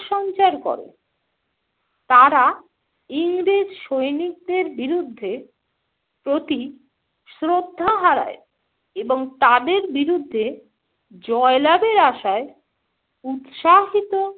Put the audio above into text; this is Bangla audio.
সঞ্চার করে। তারা ইংরেজ সৈনিকদের বিরুদ্ধে প্রতি শ্রদ্ধা হারায় এবং তাদের বিরুদ্ধে জয় লাভের আশায় উৎসাহিত